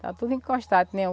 Está tudo encostado, que nem o